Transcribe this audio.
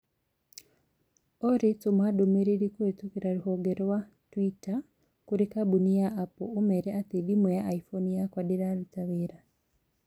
Olly tũma ndũmĩrĩri kũhitũkĩra rũhonge rũa tũitar kũrĩ kambũni ya Apple ũmeere atĩ thimũ ya iphone yakwa ndiraruta wira